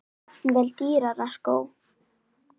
Jafnvel dýra skó?